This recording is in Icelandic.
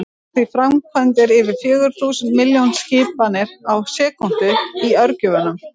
Það eru því framkvæmdar yfir fjögur þúsund milljón skipanir á sekúndu í örgjörvanum!